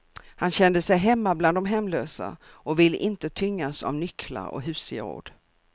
Han kände sig hemma bland de hemlösa och ville inte tyngas av nycklar och husgeråd.